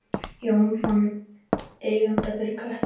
Jón fann eiganda fyrir köttinn